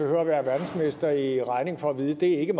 behøver være verdensmester i regning for at vide at det ikke